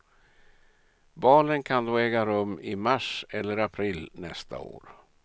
Valen kan då äga rum i mars eller april nästa år.